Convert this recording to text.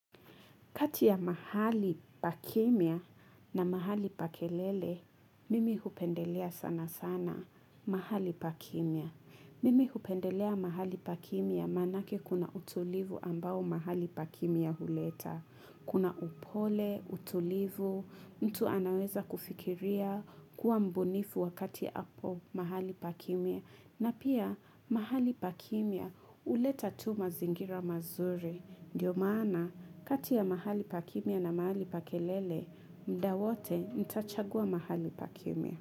Kati ya mahali pa kimya na mahali pa kelele, mimi hupendelea sana sana mahali pa kimya. Mimi hupendelea mahali pa kimya manake kuna utulivu ambao mahali pa kimya huleta. Kuna upole, utulivu, mtu anaweza kufikiria kuwa mbunifu wakati hapo mahali pa kimya. Na pia mahali pa kimya huleta tu mazingira mazuri. Ndiyo maana kati ya mahali pa kimya na mahali pa kelele, muda wote nitachagua mahali pa kimya.